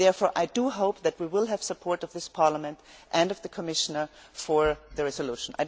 Therefore, I hope that we will have the support of this Parliament and of the Commissioner for the resolution.